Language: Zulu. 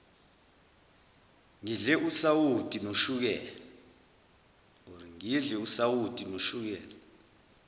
ngidle usawoti noshukela